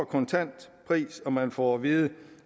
kontantprisen og man får at vide